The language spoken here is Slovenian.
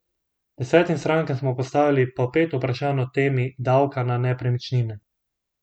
Desetim strankam smo postavili po pet vprašanj o temi davka na nepremičnine.